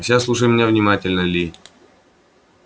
а сейчас слушай меня внимательно ли